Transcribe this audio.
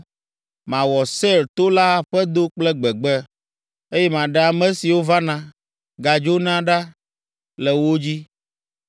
Mawɔ Seir to la aƒedo kple gbegbe, eye maɖe ame siwo vana, gadzona ɖa le wo dzi.